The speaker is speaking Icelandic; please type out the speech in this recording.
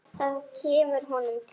Það kemur honum til.